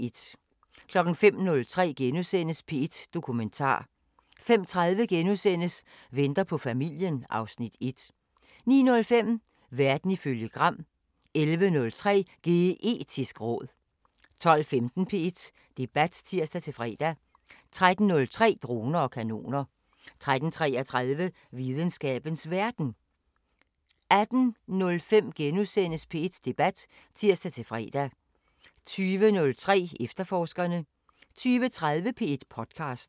05:03: P1 Dokumentar * 05:30: Venter på familien (Afs. 1)* 09:05: Verden ifølge Gram 11:03: Geetisk råd 12:15: P1 Debat (tir-fre) 13:03: Droner og kanoner 13:33: Videnskabens Verden 18:05: P1 Debat *(tir-fre) 20:03: Efterforskerne 20:30: P1 podcaster